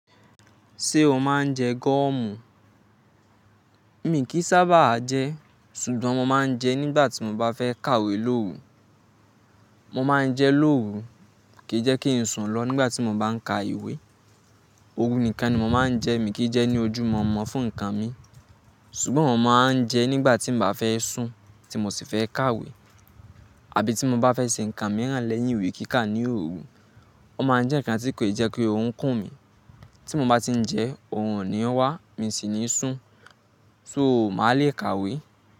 Ṣé o máa ń jẹ gọ́ọ̀mù? Mi kì í sábà jẹ, ṣùgbọ́n mo máa ń jẹ nígbà tí mo bá fẹ́ kàwé lóru. Mo máa ń jẹ lóru kí jẹ́ kí n sùn lọ nígbà tí mo bá ń ka ìwé. Òru nìkan ni mo máa ń jẹ, mi kì í jẹ ní ojú mọ̀ọ́mọ̀ fún nǹkan mi. Ṣùgbọ́n mo máa ń jẹ nígbà tí n bá fẹ́ sùn tí mo sì fẹ́ kàwé, àbí tí mo bá fẹ́ ṣe nǹkan mìíràn lẹ́yìn ìwé kíkà ní òru. Ó máa ń jẹ́ nǹkan tí kò ì jẹ kí orun kùn mí. Tí mo bá ti ń jẹ, òórùn ni ó wá, mi sì ní sùn, so màá le kàwé.